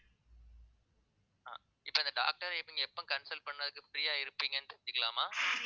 ஆஹ் இப்ப இந்த doctor அ நீங்க எப்ப consult பண்ணதுக்கு free ஆ இருப்பீங்கன்னு தெரிஞ்சுக்கலாமா